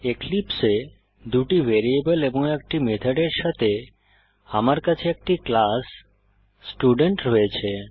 এক্লিপসে এ দুটি ভ্যারিয়েবল এবং একটি মেথডের সাথে আমার কাছে একটি ক্লাস স্টুডেন্ট রয়েছে